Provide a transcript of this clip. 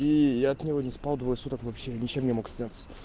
и я от него не спал двое суток вообще ничем не мог сняться